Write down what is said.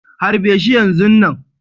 Harbe shi yanzun nan.